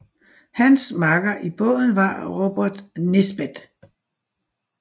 Hans makker i båden var Robert Nisbet